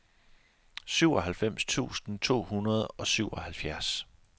syvoghalvfems tusind to hundrede og syvoghalvfjerds